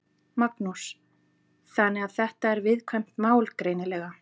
Magnús: Þannig að þetta er viðkvæmt mál, greinilega?